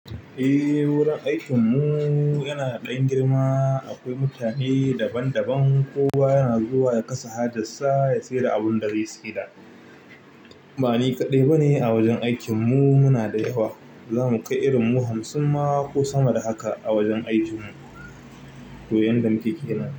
Eh, wurin aikin mu yana da ɗan girma. Akwai mutane daban daban. Kowa yana zuwa ya kasa hajarsa, ya saida abinda zai saida. Ba ni kaɗai ba ne a wajen aikin mu, muna da yawa. Za mu kai irin mu hamsin ma ko sama da haka a wajen aikin mu, koyan da muke kenan.